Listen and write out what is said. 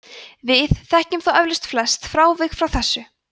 við þekkjum þó eflaust flest frávik frá þessu